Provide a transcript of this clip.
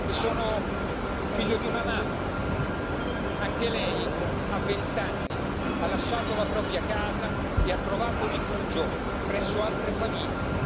Sono figlio di una mamma, che anch'essa a vent'anni ha lasciato la propria casa e ha trovato rifugio presso altre famiglie.